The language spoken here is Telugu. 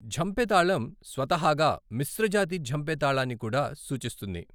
ఝంపె తాళం స్వతహాగా మిశ్ర జాతి ఝంపె తాళాన్ని కూడా సూచిస్తుంది.